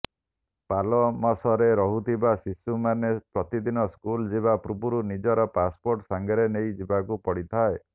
ପାଲୋମସରେ ରହୁଥିବା ଶିଶୁମାନେ ପ୍ରତିଦିନ ସ୍କୁଲ ଯିବା ପୂର୍ବରୁ ନିଜର ପାସପୋର୍ଟ ସାଙ୍ଗରେ ନେଇ ଯିବାକୁ ପଡ଼ିଥାଏ